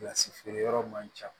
Kilasi feere yɔrɔ man ca